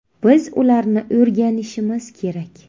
Biz ularni o‘rganishimiz kerak.